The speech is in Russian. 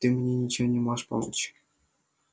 ты мне ничем не можешь помочь